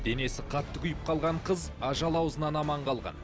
денесі қатты күйіп қалған қыз ажал аузынан аман қалған